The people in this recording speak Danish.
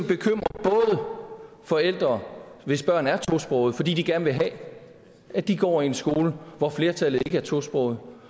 bekymrer forældre hvis børn er tosprogede fordi de gerne vil have at de går i en skole hvor flertallet ikke er tosprogede